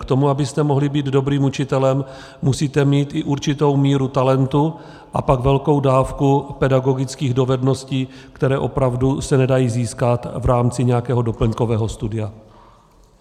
K tomu, abyste mohli být dobrým učitelem, musíte mít i určitou míru talentu a pak velkou dávku pedagogických dovedností, které opravdu se nedají získat v rámci nějakého doplňkového studia.